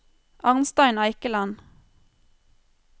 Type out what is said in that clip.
Arnstein Eikeland